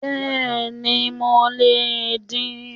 Bẹ́ẹ̀ni mi le è din